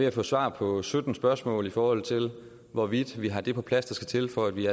at få svar på sytten spørgsmål i forhold til hvorvidt vi har det på plads der skal til for at vi i